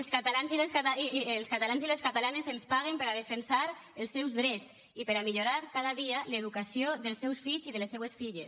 els catalans i les catalanes ens paguen per a defensar els seus drets i per a millorar cada dia l’educació dels seus fills i de els seues filles